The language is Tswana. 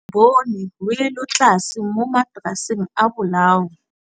Re bone wêlôtlasê mo mataraseng a bolaô.